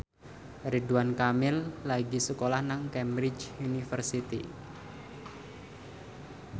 Ridwan Kamil lagi sekolah nang Cambridge University